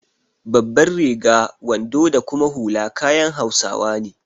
Babbar riga, wando da kuma hula kayan hausawa ne.